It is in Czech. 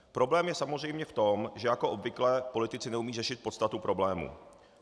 Problém je samozřejmě v tom, že jako obvykle politici neumějí řešit podstatu problému.